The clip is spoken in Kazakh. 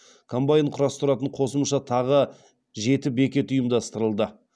комбайн құрастыратын қосымша тағы жеті бекет ұйымдастырылды